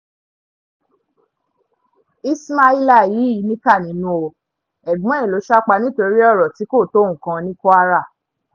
ismaila yìí níkà nínú o ẹ̀gbọ́n ẹ̀ ló sá pa nítorí ọ̀rọ̀ tí kò tó nǹkan ní kwara